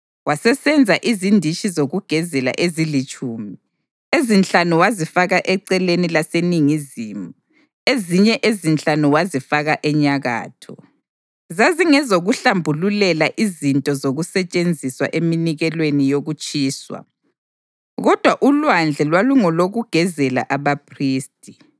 Wasesenza izinditshi zokugezela ezilitshumi, ezinhlanu wazifaka eceleni laseningizimu ezinye ezinhlanu wazifaka enyakatho. Zazingezokuhlambululela izinto zokusetshenziswa eminikelweni yokutshiswa, kodwa uLwandle lwalungolokugezela abaphristi.